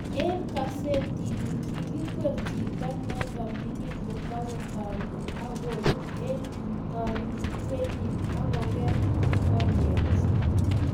Eng kasetini, kigikwer chito noto mining kotkotanui agoru eng kurgenyi agoger konyekchi